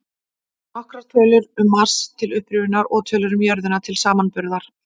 Nokkrar tölur um Mars, til upprifjunar, og tölur um jörðina til samanburðar: